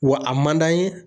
Wa a man d'an ye